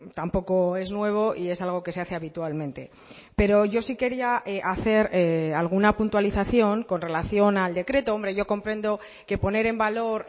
tampoco es nuevo y es algo que se hace habitualmente pero yo sí quería hacer alguna puntualización con relación al decreto hombre yo comprendo que poner en valor